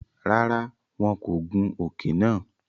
Rárá, wọn kò gùn òke nàá